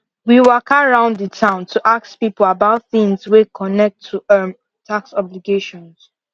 we waka round the town to ask people about things way connect to um tax obligations